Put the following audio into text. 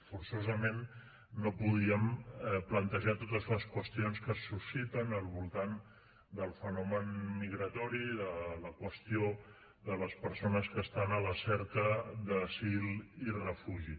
forçosament no podíem plantejar totes les qüestions que se susciten al voltant del fenomen migratori de la qüestió de les persones que estan a la cerca d’asil i refugi